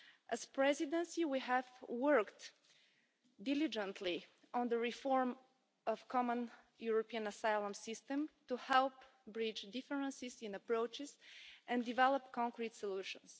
As the Presidency, we have worked diligently on the reform of the Common European Asylum System to help bridge differences in approaches and develop concrete solutions.